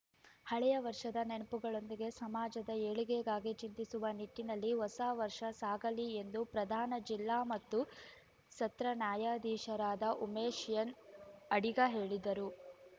ಹಳೆಯ ವರ್ಷದ ನೆನಪುಗಳೊಂದಿಗೆ ಸಮಾಜದ ಏಳಿಗೆಗಾಗಿ ಚಿಂತಿಸುವ ನಿಟ್ಟಿನಲ್ಲಿ ಹೊಸ ವರ್ಷ ಸಾಗಲಿ ಎಂದು ಪ್ರಧಾನ ಜಿಲ್ಲಾ ಮತ್ತು ಸತ್ರ ನ್ಯಾಯಾಧೀಶರಾದ ಉಮೇಶ್‌ಎನ್‌ಅಡಿಗ ಹೇಳಿದರು